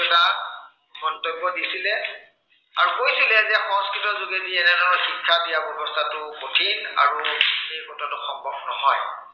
মন্তব্য় দিছিলে আৰু কৈছিলে যে সংস্কৃতৰ যোগেদি এনে ধৰনৰ শিক্ষা দিয়া ব্য়ৱস্থাটো সঠিক আৰু এই কথাটো সম্ভৱ নহয়।